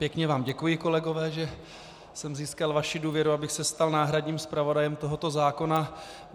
Pěkně vám děkuji, kolegové, že jsem získal vaši důvěru, abych se stal náhradním zpravodajem tohoto zákona.